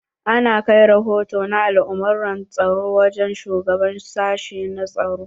Ana kai rahoto na al'amurran tsaro wajen shugaban sashi na tsaro.